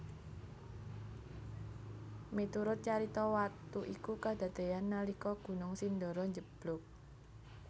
Miturut carita watu iku kadadeyan nalika Gunung Sindoro njeblug